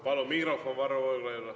Palun mikrofon Varro Vooglaiule.